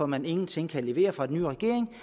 man ingenting kan levere fra den nye regerings